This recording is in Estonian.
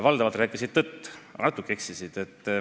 Valdavalt rääkisid õigust, aga natuke eksisid.